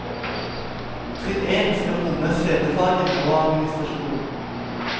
Trinn én skal romme scenefagene og administrasjon.